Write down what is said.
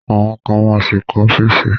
Àwọn kan ma ṣì kọ́ ọ́fíìsì